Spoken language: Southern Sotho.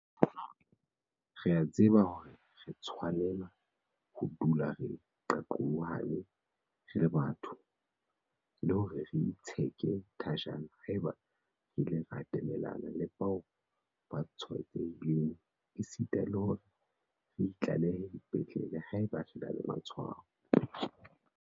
Re a tseba hore re tshwanela ho dula re qaqolohane re le batho, le hore re itsheke thajana haeba re ile ra atamelana le bao ba tshwaetsehileng esita le hore re itlalehe dipetlele haeba re na le matshwao.